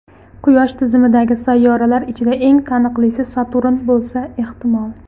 Quyosh tizimidagi sayyoralar ichida eng taniqlisi Saturn bo‘lsa ehtimol.